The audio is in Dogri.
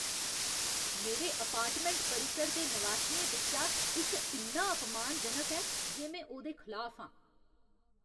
मेरे अपार्टमैंट परिसर दे नवासियें बिच्चा इक इन्ना अपमानजनक ऐ जे में ओह्दे खलाफ आं।